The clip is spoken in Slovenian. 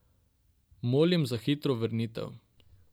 Molim za hitro vrnitev.